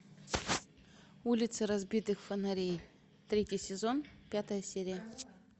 улицы разбитых фонарей третий сезон пятая серия